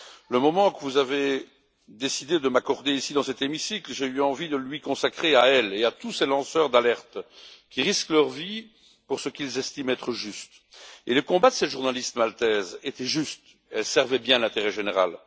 Le moment que vous avez décidé de m'accorder, ici dans cet hémicycle, j'ai eu envie de lui consacrer, à elle et à tous ces lanceurs d'alerte qui risquent leur vie pour ce qu'ils estiment être juste. Et le combat de cette journaliste maltaise était juste, elle servait bien l'intérêt général.